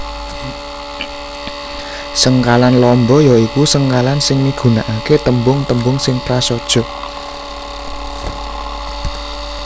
Sengkalan lamba ya iku sengkalan sing migunakaké tembung tembung sing prasaja